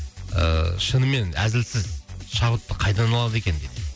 ыыы шынымен әзілсіз шабытты қайдан алады екен дейді